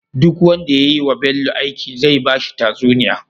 Duk wanda yayi wa Bello aiki zai bashi tatsuniya